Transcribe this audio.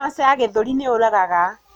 Kanja ya gīthūri nīyūragaga.